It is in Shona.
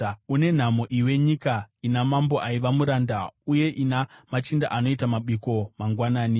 Une nhamo iwe nyika ina mambo aiva muranda uye ina machinda anoita mabiko mangwanani.